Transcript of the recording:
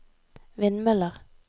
vindmøller